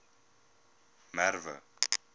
merwe